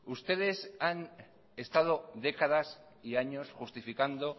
ustedes han estado décadas y años justificando